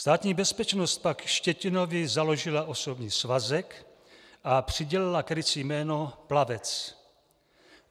Státní bezpečnost pak Štětinovi založila osobní svazek a přidělila krycí jméno Plavec.